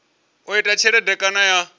u ita tshelede kana ya